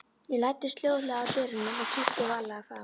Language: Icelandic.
Ég læddist hljóðlega að dyrunum og kíkti varlega fram.